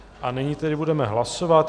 A nyní tedy budeme hlasovat.